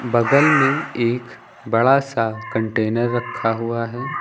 बगल में एक बड़ा सा कंटेनर रखा हुआ है।